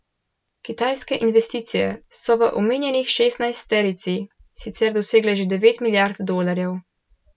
Kitajske investicije so v omenjeni šestnajsterici sicer dosegle že devet milijard dolarjev.